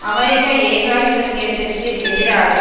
அமெரிக்க ஏகாதிபத்தியத்திற்கு எதிராக